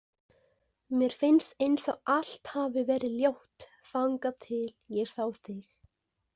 Mér finnst eins og allt hafi verið ljótt þangað til ég sá þig.